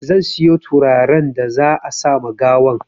Zan siyo turaren da za a sama gawan